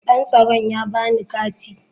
Dan tsaron ya ba ni kati.